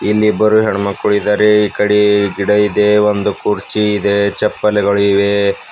ಇಲ್ಲಿ ಇಬ್ಬರು ಹೆಣ್ಣಮಕ್ಳು ಇದಾರೆ ಈ ಕಡೆ ಗಿಡ ಇದೆ ಒಂದು ಕುರ್ಚಿ ಇದೆ ಚಪ್ಪಲಿಗಳು ಇವೆ.